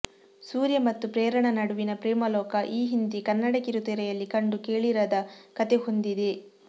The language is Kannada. ಸೂರ್ಯ ಮತ್ತು ಪ್ರೇರಣಾ ನಡುವಿನ ಪ್ರೇಮಲೋಕ ಈ ಹಿಂದೆ ಕನ್ನಡ ಕಿರುತೆರೆಯಲ್ಲಿ ಕಂಡು ಕೇಳಿರದ ಕಥೆ ಹೊಂದಿದೆ